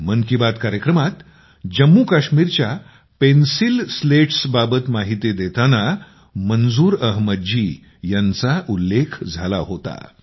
मन की बात कार्यक्रमात जम्मू काश्मीरच्या पेन्सील पाट्यापेन्सील स्लेट्स बाबत माहिती देताना तेव्हा मंजूर अहमद जी यांचा उल्लेख झाला होता